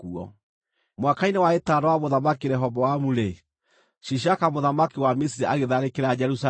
Mwaka-inĩ wa ĩtano wa Mũthamaki Rehoboamu-rĩ, Shishaka mũthamaki wa Misiri agĩtharĩkĩra Jerusalemu.